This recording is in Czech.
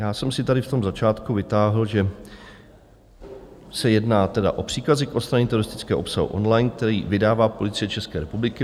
Já jsem si tady v tom začátku vytáhl, že se jedná tedy o příkazy k odstranění teroristického obsahu online, který vydává Policie České republiky.